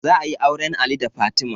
Za ayi auren ali da fatima